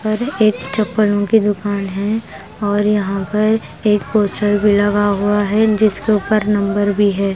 पर एक चप्पलों की दुकान है और यहाँ पर एक पोस्टर भी लगा हुआ है जिसके ऊपर नंबर भी है।